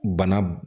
Bana b